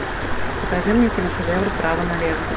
покажи мне киношедевр право налево